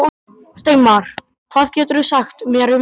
Steinmar, hvað geturðu sagt mér um veðrið?